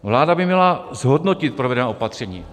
Vláda by měla zhodnotit provedená opatření.